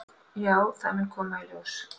"""Já, það mun koma í ljós."""